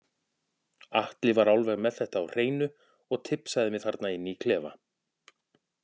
Atli var alveg með þetta á hreinu og tipsaði mig þarna inni í klefa.